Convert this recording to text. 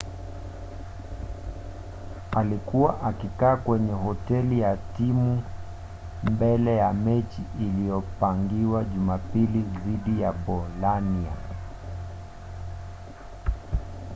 alikuwa akikaa kwenye hoteli ya timu mbele ya mechi iliyopangiwa jumapili dhidi ya bolania